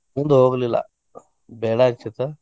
ಮುಂದ್ ಹೋಗ್ಲಿಲ್ಲಾ ಬೇಡಾ ಅನ್ಸಿತ್.